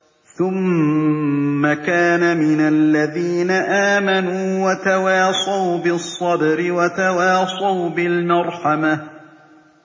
ثُمَّ كَانَ مِنَ الَّذِينَ آمَنُوا وَتَوَاصَوْا بِالصَّبْرِ وَتَوَاصَوْا بِالْمَرْحَمَةِ